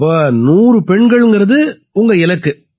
அப்ப 100 பெண்கள்ங்கறது உங்க இலக்கு